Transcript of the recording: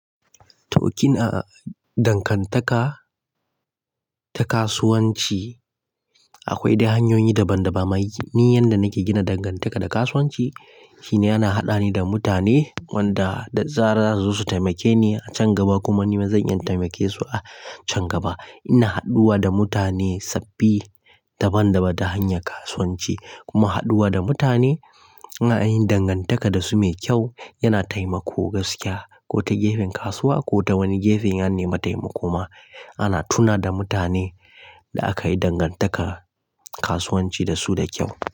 To kina dangantaka ta kasuwanci akwai hanyoyi daban-daban. Ni yanda nake gina dangantaka da kasuwanci shine ana haɗa ni da mutane wanda da zarar za su taimake ni a can gaba kuma nima zan iya taimake su a can gaba. Ina haɗuwa da mutane sabbi daban-daban ta hanyar kasuwanci kuma haɗuwa da mutane ana yin dangantaka da su mai kyau yana taimako gaskiya ko ta gefen kasuwa ko ta wani gefe ya nemi taimako ma ana tuna da mutane da aka yi dangantaka kasuwanci da su da kyau.